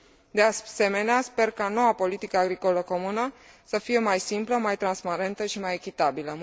De asemenea sper ca noua politică agricolă comună să fie mai simplă, mai transparentă și mai echitabilă